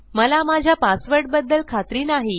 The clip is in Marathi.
मला माझ्या पासवर्डबद्दल खात्री नाही